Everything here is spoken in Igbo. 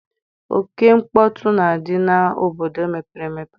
Oke mkpọtụ na-adị n'obodo mepere emepe.